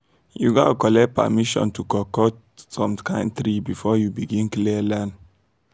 you gats collect permission to cut cut some kind tree before you begin clear land